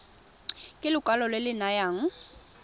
ke lekwalo le le nayang